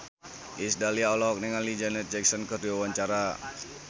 Iis Dahlia olohok ningali Janet Jackson keur diwawancara